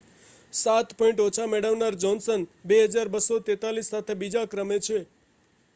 સાત પૉઇન્ટ ઓછા મેળવનાર જોહ્નસન 2,243 સાથે બીજા ક્રમે છે